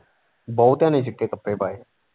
ਬਹੁਤਿਆਂ ਨੇ ਚਿੱਟੇ ਕੱਪੜੇ ਪਾਏ।